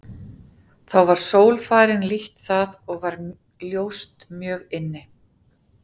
Þá var sól farin lítt það og var ljóst mjög inni.